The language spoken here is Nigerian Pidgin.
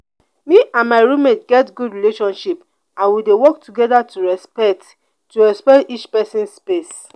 me and my roommate get good relationship and we dey work together to respect to respect each pesin space.